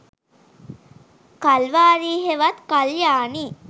කල්වාරි හෙවත් කල්යාණි